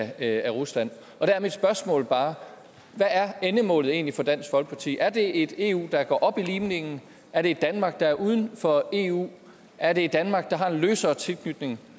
af rusland der er mit spørgsmål bare hvad er endemålet egentlig for dansk folkeparti er det et eu der går op i limningen er det et danmark der er uden for eu er det et danmark der har en løsere tilknytning